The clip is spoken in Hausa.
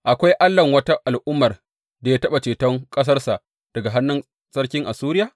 Akwai allahn wata al’ummar da ya taɓa ceton ƙasarsa daga hannun sarkin Assuriya?